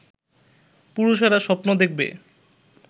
পুরুষেরা স্বপ্ন দেখবে